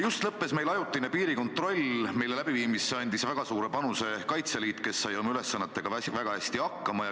Just lõppes meil ajutine piirikontroll, mille läbiviimisse andis väga suure panuse Kaitseliit, kes sai oma ülesannetega väga hästi hakkama.